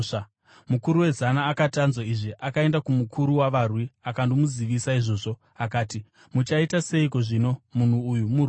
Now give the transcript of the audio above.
Mukuru wezana akati anzwa izvi, akaenda kumukuru wavarwi akandomuzivisa izvozvo, akati, “Muchaita seiko zvino? Munhu uyu muRoma.”